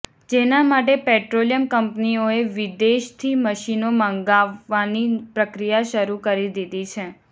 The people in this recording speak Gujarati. જેના માટે પેટ્રોલિયમ કંપનીઓએ વિદેશથી મશીનો મંગાવવાની પ્રક્રિયા શરૂ કરી દીધી છે